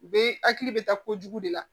U bɛ hakili bɛ taa kojugu de la